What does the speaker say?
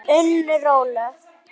Unnur Ólöf.